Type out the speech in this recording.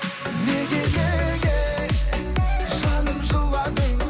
неге неге жаным жыладың